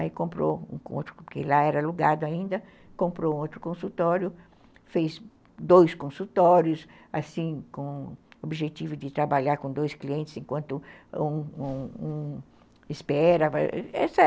Aí comprou um outro, porque lá era alugado ainda, comprou outro consultório, fez dois consultórios, assim, com o objetivo de trabalhar com dois clientes enquanto um um um espera.